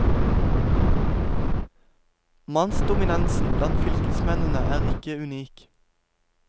Mannsdominansen blant fylkesmennene er ikke unik.